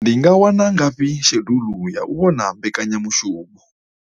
Ndi nga wana ngafhi shedulu ya u vhona mbekanyamushumo?